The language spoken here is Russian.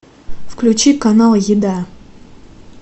включи канал еда